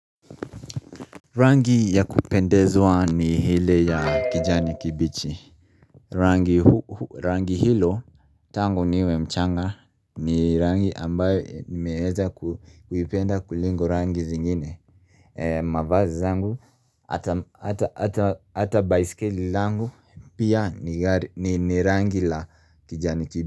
Rangi ya kupendeza ni ile ya kijani kibichi, rangi Rangi hilo tangu niwe mchanga ni rangi ambayo nimeeza kuipenda kuliko rangi zingine mavazi zangu ata baiskeli langu pia ni rangi la kijani kibichi.